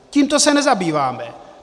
Tímto se nezabýváme.